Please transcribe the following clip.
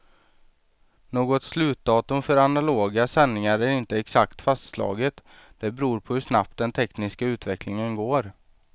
Något slutdatum för analoga sändningar är inte exakt fastslaget, det beror på hur snabbt den tekniska utvecklingen går.